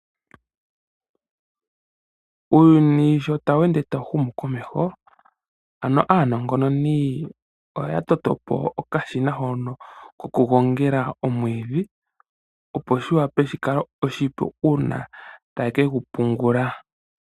Uuyuni sho tawende ta wuhumu komeho ano aanongononi oya totopo okashina hono ko kugongela omwiidhi, opo shiwape shikale oshipu uuna taye kegupungula.